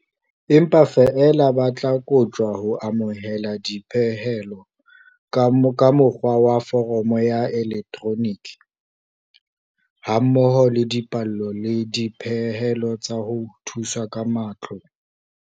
Empa feela ba tla koptjwa ho amohela dipehelo ka mo kgwa wa foromo ya elektroniki, ha mmoho le dipallo le dipehelo tsa ho thuswa ka matlole.